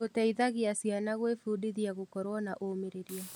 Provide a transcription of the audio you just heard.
Gũteithagia ciana gwĩbundithia gũkorwo na ũmĩrĩria.